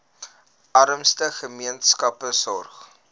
armste gemeenskappe sorg